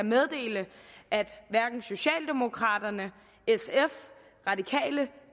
meddele at hverken socialdemokraterne sf radikale